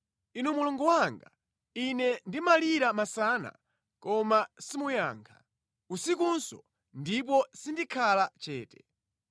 Inu Mulungu wanga, ine ndimalira masana, koma simuyankha, usikunso, ndipo sindikhala chete.